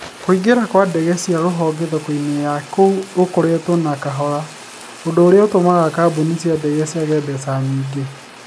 Kũingĩra kwa ndege cia rũhonge thoko-inĩ ya kũu gũkoretwo na kahora. ũndũ ũrĩa ũtomaga kambuni cia ndege ciage mbeca nyingĩ.